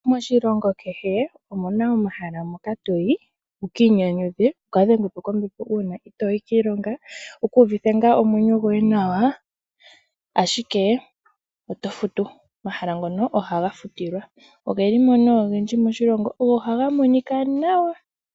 Moshilongo kehe omuna omahala moka toyi wukiinyanyudhe. Wukadhengwe po kombepo uuna itooyi kiilonga wukuuvithe ngaa omwenyo goye nawa ashikee otofutu. Omahala ngono ohaga futilwa ogelimo nee ogendji moshilongo go ohaga monika nawa.